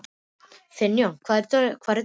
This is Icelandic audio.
Finnjón, hvar er dótið mitt?